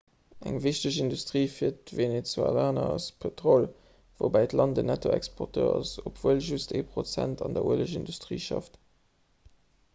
eng wichteg industrie fir d'venezuelaner ass pëtrol woubäi d'land en nettoexporteur ass obwuel just ee prozent an der uelegindustrie schafft